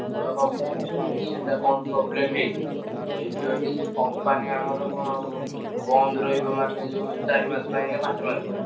ବଡ company ନା ସେ machine ଟା କଣ problem ହେଇଚି। ହେଇଚି ଯଦି ସେ company ଆମର କଣ ବନ୍ଦ ରହିବ ମାନେ ଯୋଉ ଚାରି ମାସ ପାଇଁ ନା ପାଞ୍ଚ ମାସ ପାଇଁ।